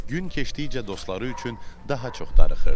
Gün keçdikcə dostları üçün daha çox darıxırdı.